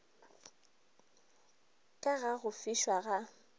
ka ga go fišwa ga